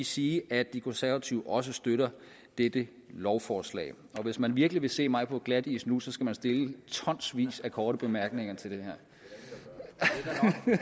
sige at de konservative også støtter dette lovforslag hvis man virkelig vil se mig på glatis nu skal man stille tonsvis af korte bemærkninger til det